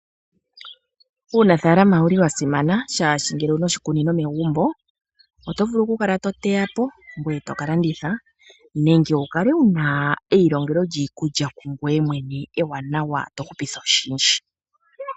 Uunafaalama owuli wasimana shaashi ngele owuna oshikunino megumbo otovulu okukala to teyapo ngoye tokalanditha, nenge wukale wuna eilongelo lyiikulya kungoye mwene ewanawa to hupitha oshindji.